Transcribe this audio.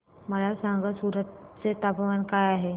मला सांगा सूरत चे तापमान काय आहे